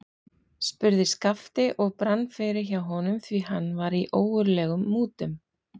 spurði Skapti og brann fyrir hjá honum, því hann var í ógurlegum mútum.